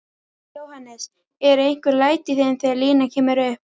Jóhannes: Eru einhver læti í þeim þegar línan kemur upp?